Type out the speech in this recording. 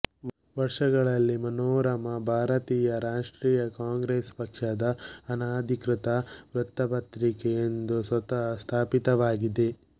ವರ್ಷಗಳಲ್ಲಿ ಮನೋರಮಾ ಭಾರತೀಯ ರಾಷ್ಟ್ರೀಯ ಕಾಂಗ್ರೆಸ್ ಪಕ್ಷದ ಅನಧಿಕೃತ ವೃತ್ತಪತ್ರಿಕೆ ಎಂದು ಸ್ವತಃ ಸ್ಥಾಪಿತವಾಗಿದೆ